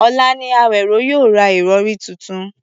Ọ̀la ni Àwèró yóò ra ìrọ̀rí tuntun